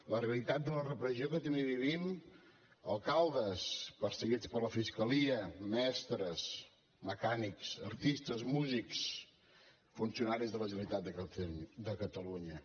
la realitat de la repressió que també vivim alcaldes perseguits per la fiscalia mestres mecànics artistes músics funcionaris de la generalitat de catalunya